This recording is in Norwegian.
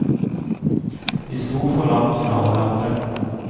Vi sto for langt fra hverandre.